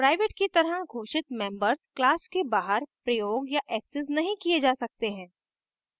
private की तरह घोषित members class के बाहर प्रयोग या accessed नहीं किये जा सकते हैं